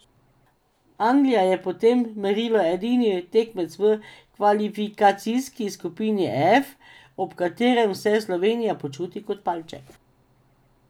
Anglija je po tem merilu edini tekmec v kvalifikacijski skupini F, ob katerem se Slovenija počuti kot palček.